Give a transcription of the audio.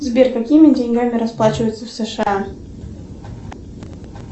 сбер какими деньгами расплачиваются в сша